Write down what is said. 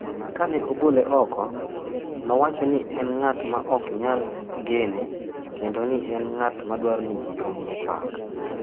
Ka ne ogole oko, nowacho ni en ng’at ma ok nyal gene kendo ni en ng’at ma dwaro ni ji omiye pak.